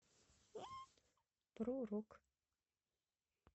про рок